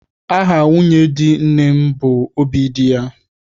Aha nwunye di nne m bụ Obidiya.